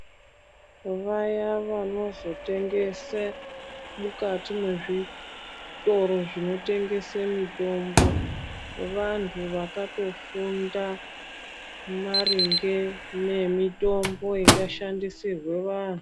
Vaya vanozotengese mukati mwezvitoro zvinotengese mitombo vanhu vakatofunda maringe ne mitombo ingashandisirwe vanhu.